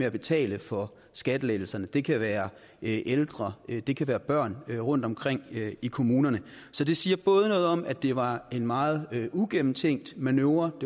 at betale for skattelettelserne det kan være ældre og det kan være børn rundtomkring i kommunerne så det siger noget om at det både var en meget uigennemtænkt manøvre og